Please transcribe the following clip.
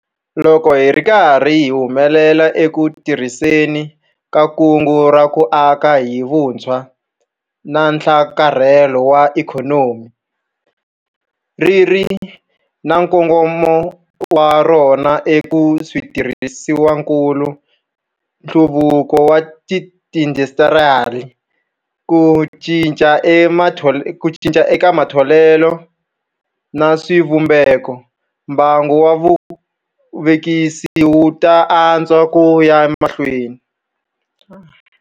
Loko hi ri karhi hi humelela eku tirhiseni ka Kungu ra ku Aka hi Vutshwa na Nhlakarhelo wa Ikhonomi ri ri na nkongomo wa rona eka switirhisiwakulu, nhluvukiso wa tiindasitiri, ku cinca eka matholelo na swivumbekombangu wa vuvekisi wu ta antswa ku ya emahlweni.